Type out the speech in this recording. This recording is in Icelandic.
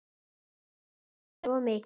Þið drekkið báðir of mikið.